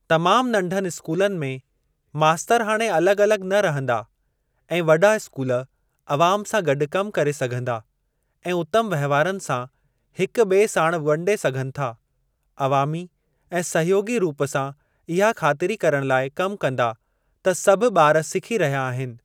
तमाम नंढनि स्कूलनि में मास्तर हाणे अलॻि अलॻि न रहंदा ऐं वॾा स्कूल अवाम सां गॾु कम करे सघंदा ऐं उतम वहिंवारनि सां हिक बि॒ए साणु वंडे सघनि था, अवामी ऐं सहयोगी रूप सां इहा ख़ातिरी करण लाइ कम कंदा त सभु ॿार सिखी रहिया आहिनि।